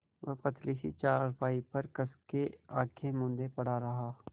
वह पतली सी चारपाई पर कस के आँखें मूँदे पड़ा रहा